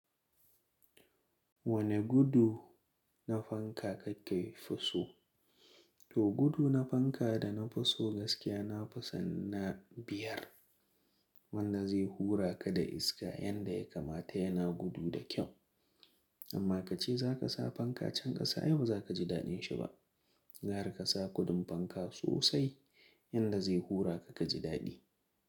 Wane gudu na fanka ka ke fi so? To gudu na fanka da na fi so gaskiya na fi son na biyar, wanda zai hura ka da iska yanda ya kamata yana gudu da kyau. Amma kace zaka sa fanka can ƙasa ai ba za ka ji daɗin shi ba. Ga ra ka sa gudun fanka sosai yanda zai hura ka ka ji daɗi.